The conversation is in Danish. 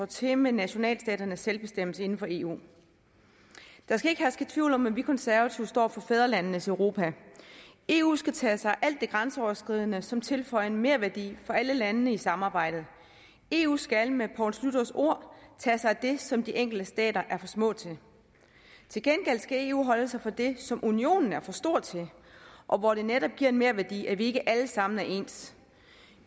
til med nationalstaternes selvbestemmelse inden for eu der skal ikke herske tvivl om at vi konservative står for fædrelandenes europa eu skal tage sig af alt det grænseoverskridende som tilføjer en merværdi for alle landene i samarbejdet eu skal med poul schlüters ord tage sig af det som de enkelte stater er for små til til gengæld skal eu holde sig fra det som unionen er for stor til og hvor det netop giver en merværdi at vi ikke alle sammen er ens